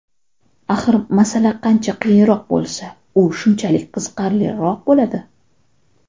Axir masala qancha qiyinroq bo‘lsa, u shunchalik qiziqarliroq bo‘ladi.